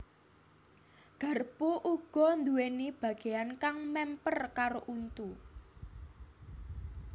Garpu uga nduwèni bagéyan kang mèmper karo untu